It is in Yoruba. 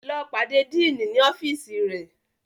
Lọ pàdé Diini ní ọfiisi rẹ!